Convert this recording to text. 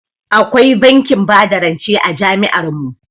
Akwai bankin bada rance a jami'ar mu.